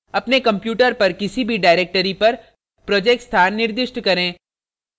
अपने computer पर किसी भी directory पर project स्थान निर्दिष्ट करें